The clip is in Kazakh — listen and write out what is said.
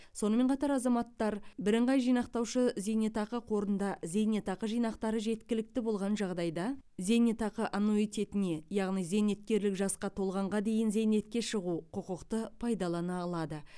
сонымен қатар азаматтар бірыңғай жинақтаушы зейнетақы қорында зейнетақы жинақтары жеткілікті болған жағдайда зейнетақы аннуитетіне зейнеткерлік жасқа толғанға дейін зейнетке шығу құқықты пайдалана алады